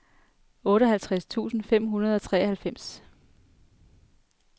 otteoghalvtreds tusind fem hundrede og treoghalvfems